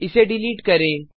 इसे डिलीट करें